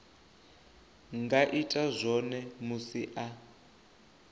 nga ita zwone musi a